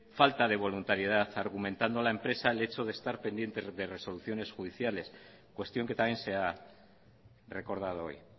falta de voluntariedad argumentando la empresa el hecho de estar pendiendo de resoluciones judiciales cuestión que también se ha recordado hoy